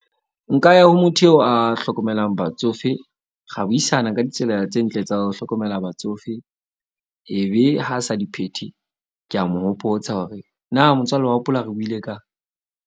Nka ya ho motho eo a hlokomelang batsofe. Ra buisana ka ditsela tse ntle tsa ho hlokomela batsofe. Ebe ha sa di phethe, ke a mo hopotsa hore na motswalle wa hopola re buile kang.